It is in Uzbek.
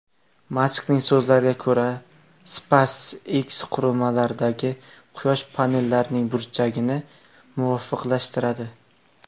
Maskning so‘zlariga ko‘ra, SpaceX qurilmalardagi quyosh panellarining burchagini muvofiqlashtiradi.